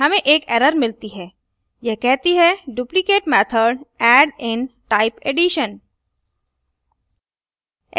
हमें एक error मिलती है यह कहती है duplicate method add in type addition